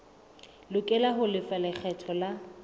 lokela ho lefa lekgetho la